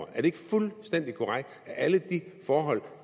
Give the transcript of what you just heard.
er det ikke fuldstændig korrekt at alle de forhold